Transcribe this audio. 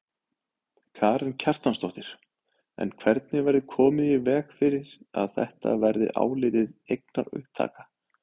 Karen Kjartansdóttir: En hvernig verður komið í veg fyrir að þetta verði álitið eignaupptaka?